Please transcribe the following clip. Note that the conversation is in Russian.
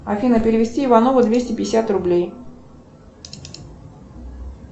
афина перевести иванову двести пятьдесят рублей